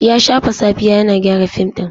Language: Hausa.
Ya shafe safiya yana gyara fim ɗin.